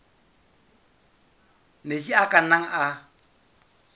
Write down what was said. metsi a ka nnang a